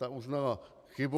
Ta uznala chybu.